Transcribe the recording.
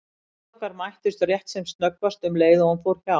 Augu okkar mættust rétt sem snöggvast um leið og hún fór hjá.